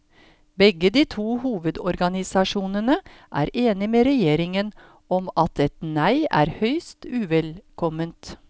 Begge de to hovedorganisasjonene er enig med regjeringen om at et nei er høyst uvelkomment.